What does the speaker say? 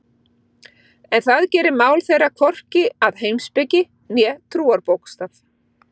En það gerir mál þeirra hvorki að heimspeki né trúarbókstaf.